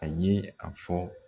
A ye a fɔ